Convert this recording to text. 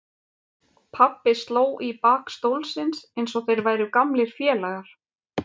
Pabbi sló í bak stólsins eins og þeir væru gamlir félagar.